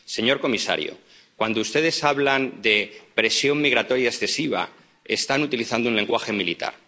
Señor comisario, cuando ustedes hablan de presión migratoria excesiva, están utilizando un lenguaje militar